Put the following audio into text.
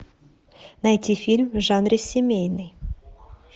найти фильм в жанре семейный